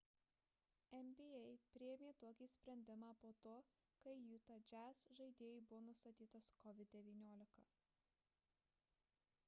nba priėmė tokį sprendimą po to kai utah jazz žaidėjui buvo nustatytas covid-19